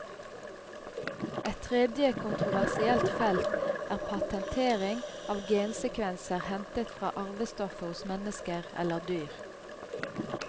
Et tredje kontroversielt felt er patentering av gensekvenser hentet fra arvestoffet hos mennesker eller dyr.